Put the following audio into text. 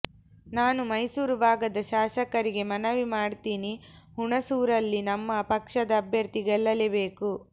ನಾನು ಮೈಸೂರು ಭಾಗದ ಶಾಸಕರಿಗೆ ಮನವಿ ಮಾಡ್ತಿನಿ ಹುಣಸೂರಲ್ಲಿ ನಮ್ಮ ಪಕ್ಷದ ಅಭ್ಯರ್ಥಿ ಗೆಲ್ಲಲೇಬೇಕು